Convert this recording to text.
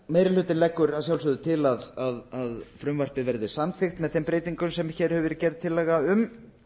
meiri hlutinn leggur til að frumvarpið verði samþykkt með þeim breytingum sem hér hefur verið gerð tillaga um